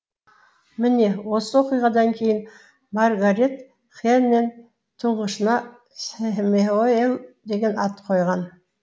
міне осы оқиғадан кейін маргарет хэнен тұңғышына сэмюэл деген ат қойған